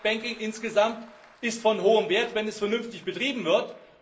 Das public banking insgesamt ist von hohem Wert, wenn es vernünftig betrieben wird.